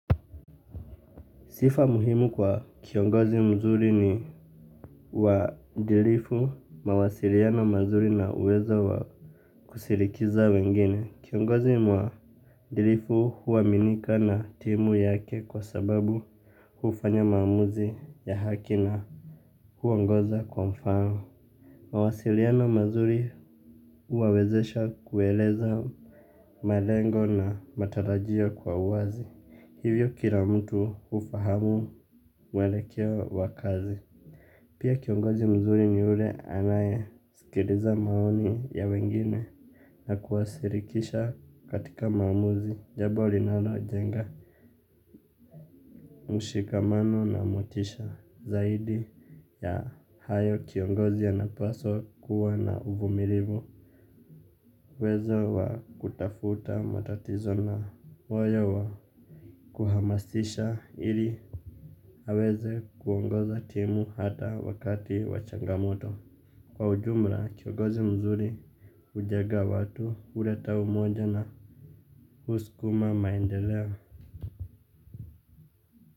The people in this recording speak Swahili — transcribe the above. Sifa muhimu kwa kiongozi mzuri ni uadilifu, mawasiliano mazuri na uwezo wa kushirikisha wengine. Kiongozi muadipifu huaminika na timu yake kwa sababu hufanya maamuzi ya haki na huongoza kwa mfano. Mawasiliano mazuri huwawezesha kueleza malengo na matarajia kwa uwazi. Hivyo kila mtu hufahamu mwelekeo wa kazi. Pia kiongozi mzuri ni ule anayesikiliza maoni ya wengine. Na kuwashirikisha katika maamuzi jambo linalojenga mshikamano na motisha. Zaidi ya hayo kiongozi anapaswa kuwa na uvumilivu uwezo wa kutafuta matatizo na moyo wa kuhamasisha ili aweze kuongoza timu hata wakati wachangamoto. Kwa ujumla kiongozi mzuri hujenga watu, huleta umoja na husukuma maendeleo.